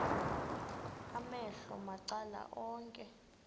amehlo macala onke